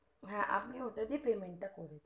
হ্যা আপনি ওটা দিয়ে payment টা করে দিন